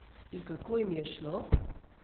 In kako jim je šlo?